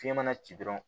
Fiɲɛ mana ci dɔrɔn